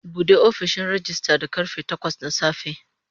Bude ofishin rejista da karfe takwas na safe.